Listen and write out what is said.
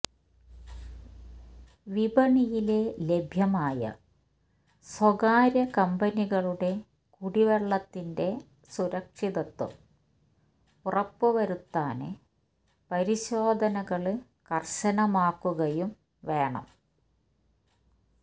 വിപണിയില് ലഭ്യമായ സ്വകാര്യ കമ്പനികളുടെ കുടിവെള്ളത്തിന്റെ സുരക്ഷിതത്വം ഉറപ്പ് വരുത്താന് പരിശോധനകള് കര്ശനമാക്കുകയും വേണം